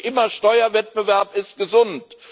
Da höre ich immer Steuerwettbewerb ist gesund.